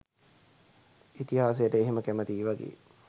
ඉතිහාසයට එහෙම කැමතියි වගේ